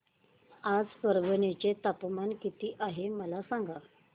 आज परभणी चे तापमान किती आहे मला सांगा